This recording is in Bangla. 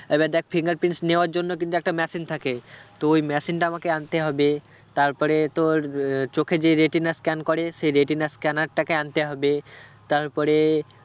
এবার দেখ fingerprints নেওয়ার জন্য কিন্তু একটা machine থাকে তো ওই machine টা আমাকে আনতে হবে তারপরে তোর আহ চোখে যে retina scan করে সেই retina scanner টাকে আনতে হবে তারপরে